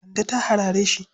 Kande ta harare shi.